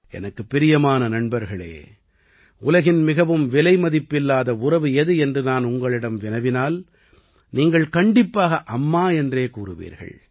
எனக்குப் பிரியமான நண்பர்களே உலகின் மிகவும் விலைமதிப்பில்லாத உறவு எது என்று நான் உங்களிடம் வினவினால் நீங்கள் கண்டிப்பாக அம்மா என்றே கூறுவீர்கள்